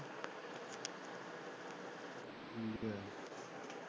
ਠੀਕ ਹੈ।